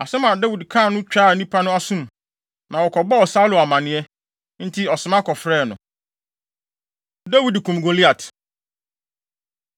Asɛm a Dawid kaa no twaa nnipa bi asom, ma wɔkɔbɔɔ Saulo amanneɛ, enti ɔsoma kɔfrɛɛ no. Dawid Kum Goliat